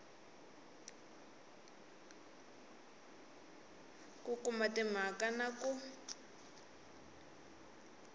ku kuma timhaka na ku